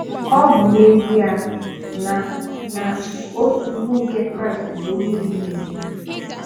Ọ bụ n'ezie na na otu ùgwù nke Kraịst bụ onye mmehie.